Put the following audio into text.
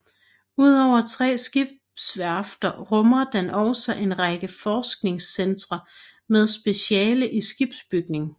Udover tre skibsværfter rummer den også en række forskningscentre med speciale i skibsbygning